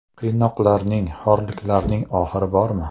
Qiynoqlarning, xo‘rliklarning oxiri bormi?!